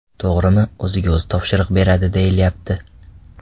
To‘g‘rimi, o‘ziga o‘zi topshiriq beradi, deyilyapti.